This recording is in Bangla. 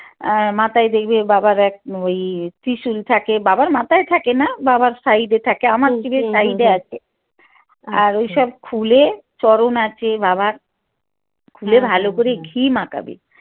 আহ বাবার এক ওই ত্রিশূল থাকে বাবার মাথায় থাকে না বাবার side এ থাকে আমার শিবের side এ আছে আর ওইসব খুলে চরণ আছে বাবার খুলে ভাল করে ঘি মাখাবে